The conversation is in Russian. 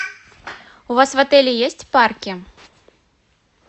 у вас в отеле есть парки